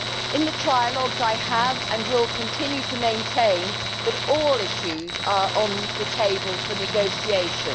In the trialogues, I have and will continue to maintain that all issues are on the table for negotiation.